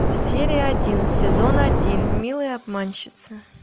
серия один сезон один милые обманщицы